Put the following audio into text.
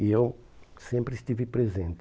E eu sempre estive presente.